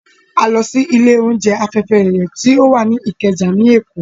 A lọ sí ilé oúnjẹ Afẹ́fẹ́yẹyẹ tó wà ní Ìkẹjà ní Èkó